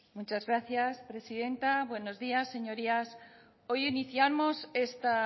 muchas gracias presidenta buenos días señorías hoy iniciamos esta